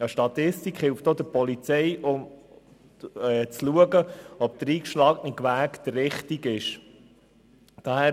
Eine Statistik hilft auch der Polizei, um zu beurteilen, ob der eingeschlagene Weg der richtige ist.